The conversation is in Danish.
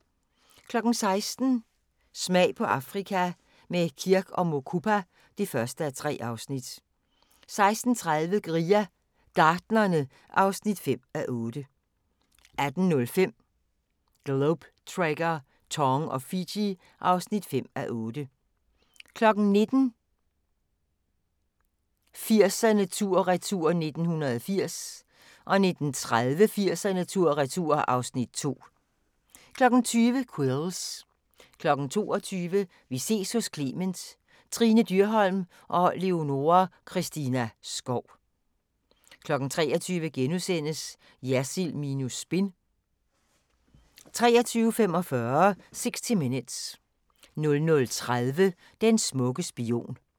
16:00: Smag på Afrika – med Kirk & Mukupa (1:3) 16:30: Guerilla Gartnerne (5:8) 18:05: Globe Trekker - Tong og Fiji (5:8) 19:00: 80'erne tur/retur: 1980 19:30: 80'erne tur/retur (Afs. 2) 20:00: Quills 22:00: Vi ses hos Clement: Trine Dyrholm og Leonora Christina Skov 23:00: Jersild minus spin * 23:45: 60 Minutes 00:30: Den smukke spion